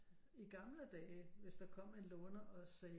I gamle dage hvis der kom en låner og sagde